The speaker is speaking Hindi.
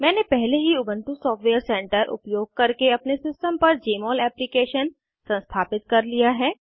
मैंने पहले ही उबन्टु सॉफ्टवेयर सेंटर उपयोग करके अपने सिस्टम पर जमोल एप्लीकेशन संस्थापित कर लिया है